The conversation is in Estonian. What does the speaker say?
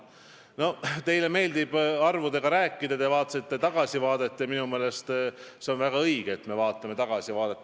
No teile meeldib arvude keeles rääkida, te tegite tagasivaate ja minu meelest on väga õige seda teha.